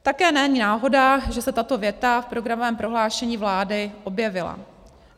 Také není náhoda, že se tato věta v programovém prohlášení vlády objevila.